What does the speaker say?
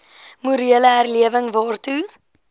morele herlewing waartoe